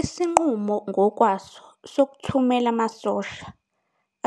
Isinqumo ngokwaso sokuthumela amasosha,